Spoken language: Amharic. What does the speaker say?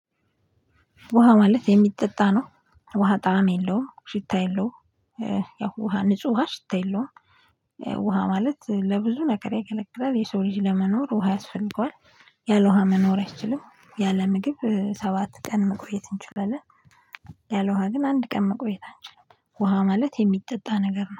ውሃ ማለት የሚጠጣ ነው። ውሃ ጣዕም የለውም ሽታ የለውም። ያው ውሃ ንጹህ ውሃ ሽታ የለውም። ውሃ ማለት ለብዙ ነገር ያገለግላል የሰው ልጅ ለመኖር ውሃ ያስፈልገዋል። ያለው ውሃ መኖር አይችልም ያለ ምግብ ሰባት ቀን መቆየት እንችላለን። ያለ ውሃ ግን አንድ ቀን መቆየት አንችልም። ውሃ ማለት የሚጠጣ ነገር ነው